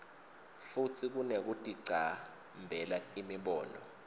futsi kunekuticambela imibono